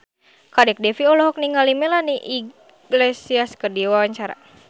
Kadek Devi olohok ningali Melanie Iglesias keur diwawancara